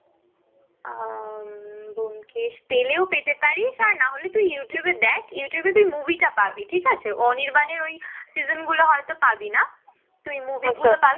আহ ব্যোমকেশ পেলেও পেতে পারিস আর না হলে তুই youtube এ দেখ, youtube তুই movie টা পাবি, ঠিক আছে? অনির্বাণের ওই season গুলো হয়তো পাবি না, তুই movie গুলো পাবি